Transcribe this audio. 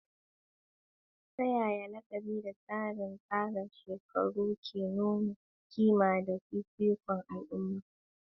Ta yaya laƙabi da tsarin tsara shekaru ke nuna ƙima da fifikon al'umma?